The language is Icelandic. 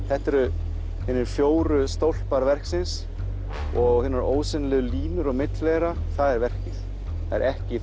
þetta eru hinir fjórir stólpar verksins og hinir ósýnilegu línur á milli þeirra það er verkið það er ekki